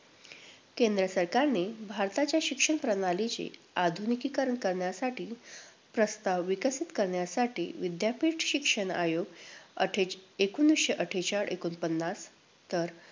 केंद्र सरकारने भारताच्या शिक्षण प्रणालीचे आधुनिकीकरण करण्यासाठी, प्रस्ताव विकसित करण्यासाठी विद्यापीठ शिक्षण आयोग अट्ठे~ एकोणवीसशे अठ्ठेचाळ - एकोणपन्नास, तर